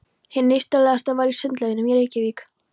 Hið nýstárlegasta var í Sundlaugunum í Reykjavík.